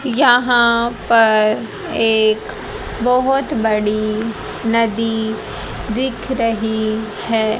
यहां पर एक बहोत बड़ी नदी दिख रही है।